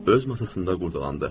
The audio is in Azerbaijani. Öz masasında qurdalandı.